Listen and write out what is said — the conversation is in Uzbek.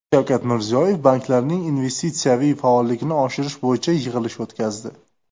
Shavkat Mirziyoyev banklarning investitsiyaviy faolligini oshirish bo‘yicha yig‘ilish o‘tkazdi.